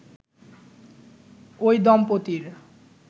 ওই দম্পতির